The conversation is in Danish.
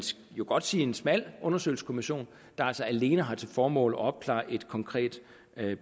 jo godt sige en smal undersøgelseskommission der altså alene har til formål at opklare et konkret